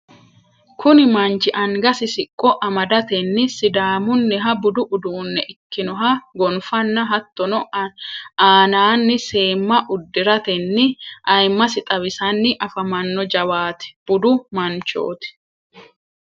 kuni manchi angasi siqqo amadatenni sidaamunniha budu uddunne ikkinoha gonfanna hattonni aananni seemma udiratenni ayimasi xawisanni afamanno jawaata budu manchoti.